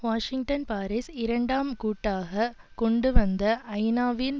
Washington Paris இரண்டாம் கூட்டாக கொண்டுவந்த ஐநாவின்